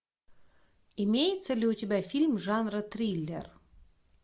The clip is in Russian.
имеется ли у тебя фильм жанра триллер